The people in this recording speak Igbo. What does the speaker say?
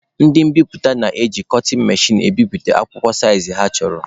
Ndị mbiputa na-eji kọtịn mechin egbubi akwụkwọ saịzị ha chọrọ.